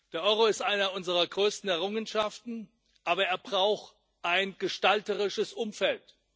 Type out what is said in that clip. Der Euro ist eine unserer größten Errungenschaften, aber er braucht ein gestalterisches Umfeld.